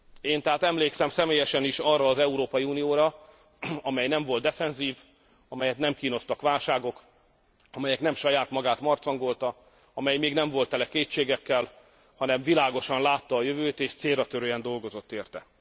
Én tehát emlékszem személyesen is arra az Európai Unióra, amely nem volt defenzív, amelyet nem kínoztak válságok, amely nem saját magát marcangolta, amely még nem volt tele kétségekkel, hanem világosan látta a jövőt és célratörően dolgozott érte.